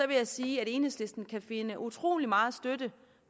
vil jeg sige at enhedslisten kan finde utrolig meget støtte